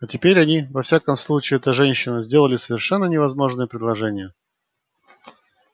а теперь они во всяком случае эта женщина сделали совершенно невозможное предложение